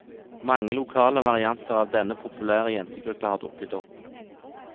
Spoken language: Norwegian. Mange lokale varianter av denne populære jentegruppa har dukket opp.